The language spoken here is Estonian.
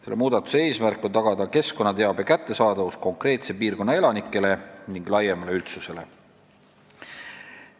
Selle muudatuse eesmärk on tagada keskkonnateabe kättesaadavus konkreetse piirkonna elanikele ning laiemale üldsusele.